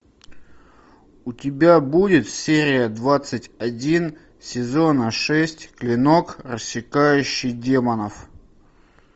у тебя будет серия двадцать один сезона шесть клинок рассекающий демонов